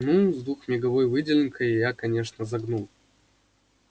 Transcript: ну с двухмеговой выделенкой я конечно загнул